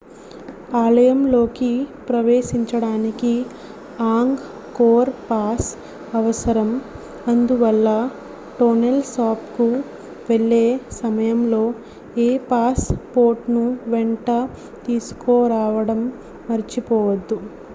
ఆలయంలోకి ప్రవేశించడానికి Angkor pass అవసరం అందువల్ల టోనెల్ సాప్ కు వెళ్లే సమయంలో మీ పాస్ పోర్ట్ ను వెంట తీసుకురావడం మర్చిపోవద్దు